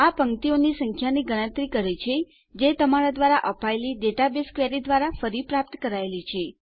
આ પંક્તિઓની સંખ્યાની ગણતરી કરે છે જે તમારા દ્વારા અપાયેલી ડેટાબેઝ ક્વેરી દ્વારા ફરી પ્રાપ્ત કરાયેલી છે